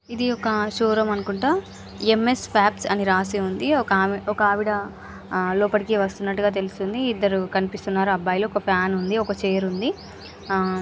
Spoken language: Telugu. ఆ షో రూమ్ అనుకుంటా ఎమ్మెస్ యాప్స్ అని రాసి ఉంది ఒక ఆవిడ లోపటికి వస్తున్నట్టుగా తెలుస్తుంది ఇద్దరు కనిపిస్తున్నారు అబ్బాయిలు ఒక ఫ్యాన్ ఉంది ఒక చైర్ ఉంది ఆ---